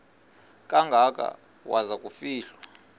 kangaka waza kufihlwa